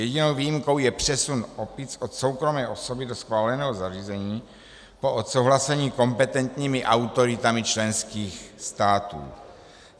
Jedinou výjimkou je přesun opic od soukromé osoby do schváleného zařízení po odsouhlasení kompetentními autoritami členských států.